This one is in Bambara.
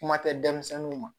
Kuma tɛ denmisɛnninw ma